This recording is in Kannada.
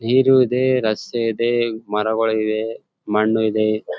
ನೀರು ಇದೆ ರಸ್ತೆ ಇದೆ ಮರಗಳು ಇವೆ ಮಣ್ಣು ಇದೆ.